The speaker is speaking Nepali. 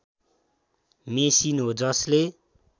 मेसिन हो जसले